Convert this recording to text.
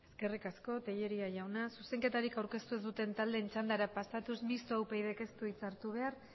eskerrik asko tellería jauna zuzenketarik aurkeztu ez duten taldeen txandara pasatuz mistoa upyd ez du hitza hartu behar